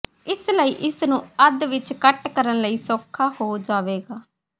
ਇਸ ਲਈ ਇਸ ਨੂੰ ਅੱਧ ਵਿੱਚ ਕੱਟ ਕਰਨ ਲਈ ਸੌਖਾ ਹੋ ਜਾਵੇਗਾ